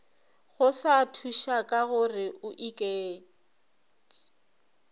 go sa thušakagore o iketš